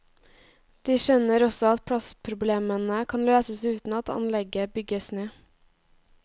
De skjønner også at plassproblemene kan løses uten at anlegget bygges ned.